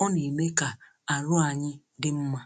nà-èle n’ahịa